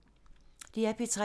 DR P3